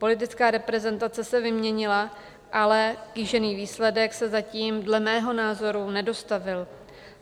Politická reprezentace se vyměnila, ale kýžený výsledek se zatím dle mého názoru nedostavil.